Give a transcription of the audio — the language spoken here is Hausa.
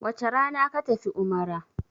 wace Rana ka tafi umara!